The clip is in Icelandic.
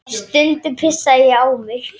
Stundum pissaði ég á mig.